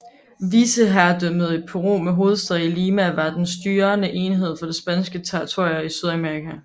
Vicekongedømmet i Peru med hovedstad i Lima var den styrende enhed for de spanske territorier i Sydamerika